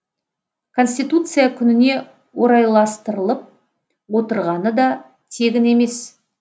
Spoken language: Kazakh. конституция күніне орайластырылып отырғаны да тегін емес